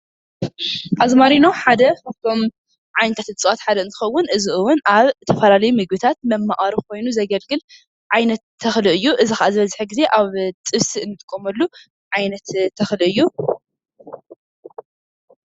ኣዝማሪኖ ሓደ ካብቶም ዓይነታት እፅዋት ሓደ እንትከውን እዚ እውን ኣብ ዝተፈላለዩ ምግብታት መማቀሪ ኮይኑ ዘገልግል ዓይነት ተክሊ እዩ። እዚ ከዓ ዝበዝሕ ግዜ ኣብ ጥብሲ እንጥቀመሉ ዓይነት ተኽሊ እዩ ።